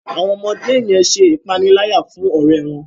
Àwọn ọmọdé yen ṣe ìpaniláyà fún ọrẹ wón.